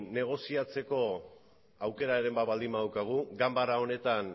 negoziatzeko aukeraren bat baldin badaukagu ganbara honetan